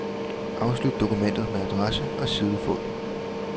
Afslut dokumentet med adresse og sidefod.